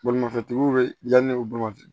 Bolimafɛntigiw bɛ yanni u boloma ten